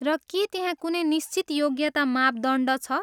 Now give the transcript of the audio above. र के त्यहाँ कुनै निश्चित योग्यता मापदण्ड छ?